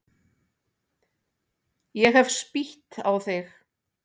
Ég hef spýtt á þig.